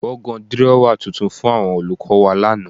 Wọ́n gan dírọ́wà tuntun fún àwọn olùkọ́ wa lánàá